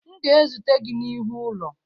M ga-ezute gị n'ihu ụlọ